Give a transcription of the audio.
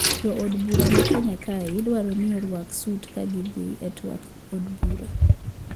Jo od bura ma kenya kae idwaro ni orwak sut ga gi dhi e twak od bura